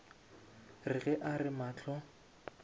re ge a re mahlo